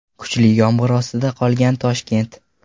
Kuchli yomg‘ir ostida qolgan Toshkent.